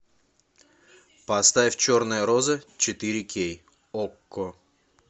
поставь черные розы четыре кей окко